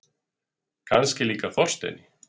Kannski líka Þorsteini.